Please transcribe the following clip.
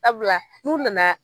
Sabula n'u nana